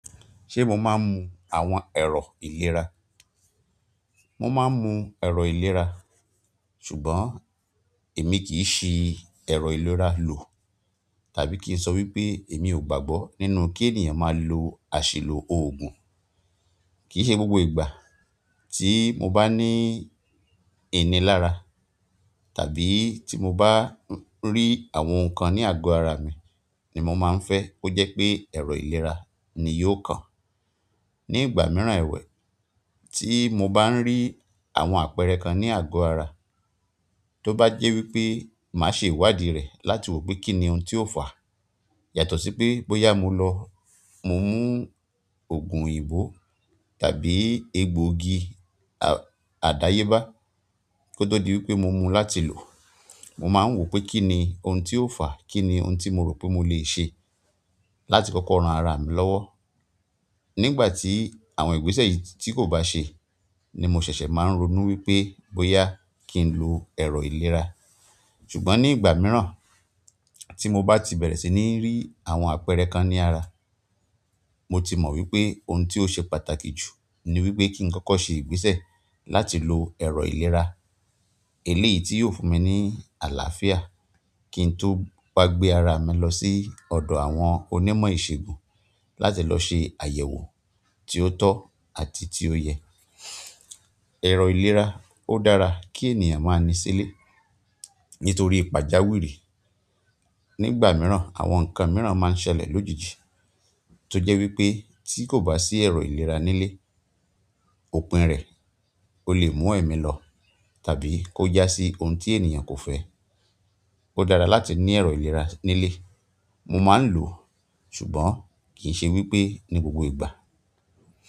Ṣé mo máa ń mu àwọn ẹ̀rọ ìlera? Mo máa ń mu ẹ̀rọ ìlera, ṣùgbọ́n èmi kì í ṣi ẹ̀rọ ìlera lò tàbí kí n sọ wípé èmi ò gbàgbọ́ nínú kí ènìyàn máa lo àṣìlò òògùn. Kì í ṣe gbogbo ìgbà tí mo bá ní ìní lára tàbí tí mo bá rí àwọn nǹkan ní àgọ ara mi ni mo máa ń fẹ́ kó jẹ́ pé ẹ̀rọ ìlera ni yóò kan. Ni ìgbà mìíràn ẹwẹ̀, tí mo bá ń rí àwọn àpẹẹrẹ kan ní àgọ ara, tó bá jẹ́ wípé màá ṣe ìwádìí rẹ̀ láti wò pé kíni ohun tí ó fà. Yàtọ̀ sí pé bóyá mo lọ, mo mú òògùn òyìnbó tàbí egbògi àdáyébá. Kó tó di wípé mo mú láti lò. Mo máa ń wò pé kíni ohun tí ó fà? Kíni ohun tí mo rò pé mo lè ṣe láti kọ́kọ́ ran ara mi lọ́wọ́? Nígbà tí àwọn ìgbésẹ̀ yìí tí kò bá ṣe ni mo ṣẹ̀ṣẹ̀ máa ń ronú wípé bóyá kí n lo ẹ̀rọ ìlera. Ṣùgbọ́n nígbà mìíràn tí mo bá ti bẹ̀rẹ̀ sí ní rí àwọn àpẹẹrẹ kan ní ara, mo ti mọ wípé ohun tí ó ṣe pàtàkì jù ni wípé kí n kọ́kọ́ ṣe ìgbésẹ̀ láti lo ẹ̀rọ ìlera. Èlé yìí tí yóò fún mi ní àlàáfíà kí n tó wa gbé ara mi lọ sí ọ̀dọ̀ àwọn onímọ̀ ìsègùn láti lọ ṣe àyẹ̀wò tí ó tọ́ àti tí ó yẹ. Ẹ̀rọ ìlera ó dára kí ènìyàn máa ní sílè nítorí ìpàjáwìrì. Nígbà mìíràn àwọn nǹkan mìíràn máa ń ṣẹlẹ̀ lójijì tó jẹ́ wípé tí kò bá sí ẹ̀rọ ìlera nílé, òpin rẹ̀ o lè mú ẹ̀mí lọ tàbí kó já sí ohun tí ènìyàn kò fẹ́. Ó dára láti ní ẹ̀rọ ìlera nílé. Mo máa ń lò, ṣùgbọ́n kì í ṣe wípé ní gbogbo ìgbà.